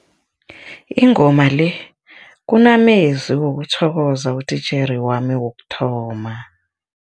Ingoma le kumamezwi wokuthokoza utitjhere wami wokuthoma.